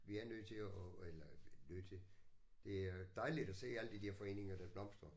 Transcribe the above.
Vi er nødt til at eller nødt til det er dejligt at se alle de der foreninger der blomstrer